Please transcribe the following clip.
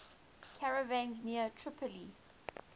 caravans near tripoli